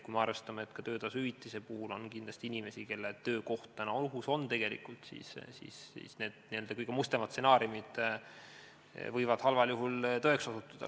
Kui me arvestame, et ka töötasuhüvitise puhul on kindlasti inimesi, kelle töökoht on ohus, siis võivad need kõige mustemad stsenaariumid halvemal juhul tõeks osutuda.